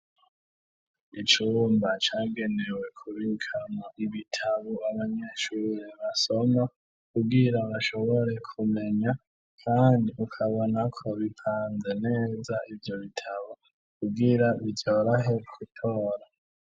Icumba cagenewe kubika mu ibitabo abanyeshuri basoma kugira bashobore kumenya kandi ukabona ko bipanze neza ivyo bitabo kugira vyorohe gutora